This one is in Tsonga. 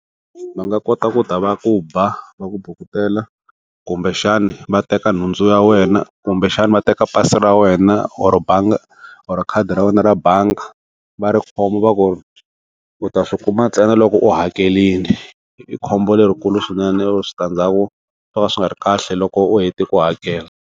Va nga kota ku ta va ku ba va ku bukutela kumbexana va teka nhundzu ya wena, kumbexana va teka pasi ra wena or bangi or khadi ra wena ra bangi, va ri khoma va ku u ta swi kuma ntsena loko u hakelini i khombo lerikulu swinene or switandzhaku swo ka swi nga ri kahle loko u hetile ku hakela.